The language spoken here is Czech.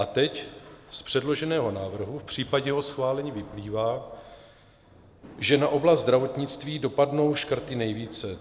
A teď z předloženého návrhu v případě jeho schválení vyplývá, že na oblast zdravotnictví dopadnou škrty nejvíce.